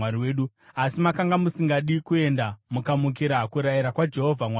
Asi makanga musingadi kuenda; mukamukira kurayira kwaJehovha Mwari wenyu.